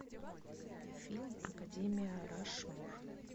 фильм академия рашмор